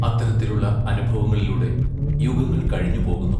അത്തരത്തിലുള്ള അനുഭവങ്ങളിലൂടെ യുഗങ്ങൾ കഴിഞ്ഞു പോകുന്നു.